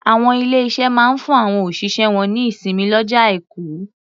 Àwọn ilé-iṣé máa ń fún àwọn òṣìṣẹ́ wọ́n ní ìsinmi lọ́jọ́ Aìkù.